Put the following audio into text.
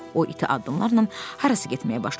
O iti addımlarla harasa getməyə başladı.